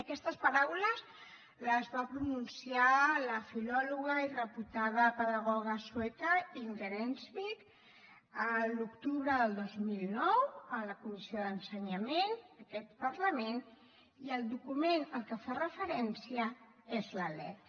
aquestes paraules les va pronunciar la filòloga i reputada pedagoga sueca inger enkvist a l’octubre del dos mil nou a la comissió d’ensenyament d’aquest parlament i el document a què fa referència és la lec